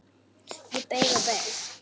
Ég beið og beið.